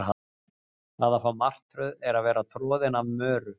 Það að fá martröð er að vera troðin af möru.